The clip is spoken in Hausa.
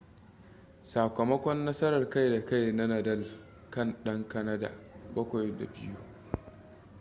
sakamakon nasarar kai da kai na nadal kan dan kanada 7-2